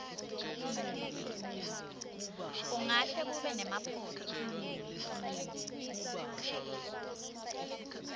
kungahle kube nemaphutsa